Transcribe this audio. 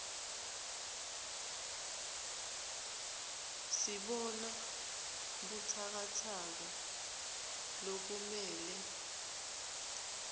sibona butsakatsaka lokumele